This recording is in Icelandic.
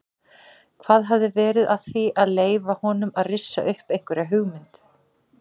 Hvað hafi verið að því að leyfa honum að rissa upp einhverja hugmynd?